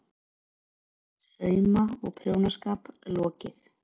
SAUMA- OG PRJÓNASKAP LOKIÐ